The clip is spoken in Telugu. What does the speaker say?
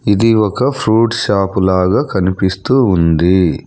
ఇది ఒక ఫ్రూట్ షాప్ లాగా కనిపిస్తూ ఉంది.